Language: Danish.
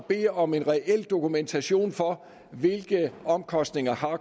bede om en reel dokumentation for hvilke omkostninger